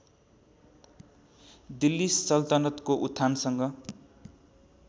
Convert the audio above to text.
दिल्ली सल्तनतको उत्थानसँग